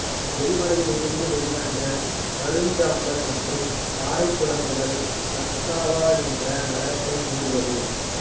எரிமலையிலிருந்து வெளிவந்த கருஞ்சாம்பல் மற்றும் பாறைக்குழம்புகள் கக்ஸாவா என்ற நகரத்தை மூடியது